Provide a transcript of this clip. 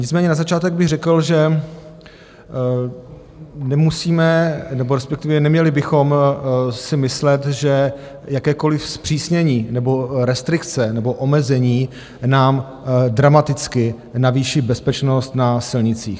Nicméně na začátek bych řekl, že nemusíme, nebo respektive neměli bychom si myslet, že jakékoliv zpřísnění nebo restrikce nebo omezení nám dramaticky navýší bezpečnost na silnicích.